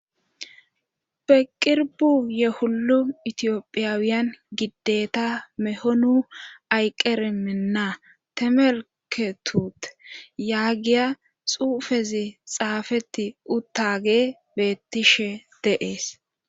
peqirbu ye hullu itiyophiyaawiyan gideta mehonu ayqqeriminna temelketute yaagiya xuufezi xaafeti uttage beettishe deees.